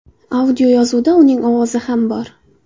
Audioyozuvda uning ovozi ham bor.